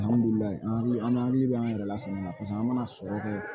Alihamudulila an n'an hakili bɛ an yɛrɛ lasunɔgɔ an mana sɔrɔ kɛ